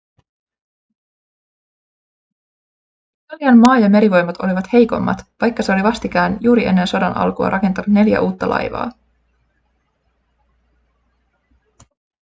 italian maa- ja merivoimat olivat heikommat vaikka se oli vastikään juuri ennen sodan alkua rakentanut neljä uutta laivaa